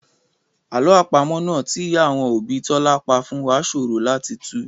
Àlọ́ àpamọ́ náà tí ìyá àwọn òbí Tọ́lá pa fún wá ṣòro láti tù